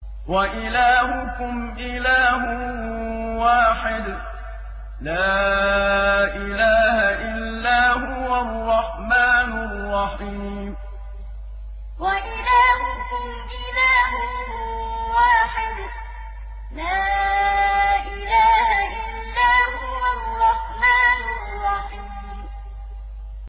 وَإِلَٰهُكُمْ إِلَٰهٌ وَاحِدٌ ۖ لَّا إِلَٰهَ إِلَّا هُوَ الرَّحْمَٰنُ الرَّحِيمُ وَإِلَٰهُكُمْ إِلَٰهٌ وَاحِدٌ ۖ لَّا إِلَٰهَ إِلَّا هُوَ الرَّحْمَٰنُ الرَّحِيمُ